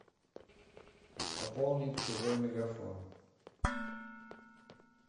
пополнить чужой мегафон